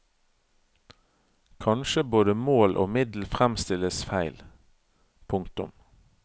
Kanskje både mål og middel fremstilles feil. punktum